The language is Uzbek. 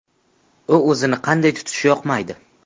U o‘zini qanday tutishi yoqmaydi.